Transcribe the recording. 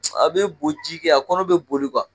A bɛ boji kɛ a kɔnɔ bɛ boli